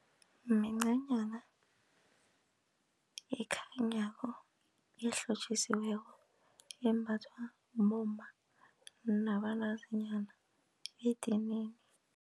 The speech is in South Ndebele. Mincanyna ekhanyako elihlotjisiweko embathwa bomma nabantazinyana edinini.